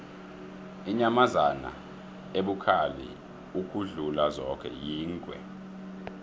inyamazana ebukhali ukudlula zoke yingwe